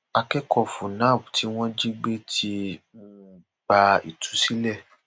akẹkọọ fúnnáàb tí wọn jí gbé ti um gba ìtúsílẹ